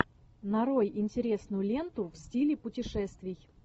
нарой интересную ленту в стиле путешествий